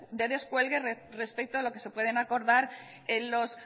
de descuelgue respecto a lo que se pueden acordar en los